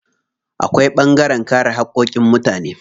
Akwai ɓangaren kare haƙƙoƙin mutane.